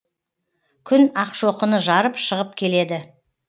күн ақшоқыны жарып шығып келеді